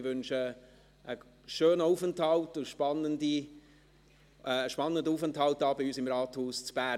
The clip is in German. Ich wünsche einen spannenden Aufenthalt bei uns hier im Rathaus in Bern.